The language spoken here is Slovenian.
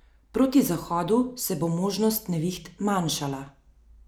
Proti zahodu se bo možnost neviht manjšala.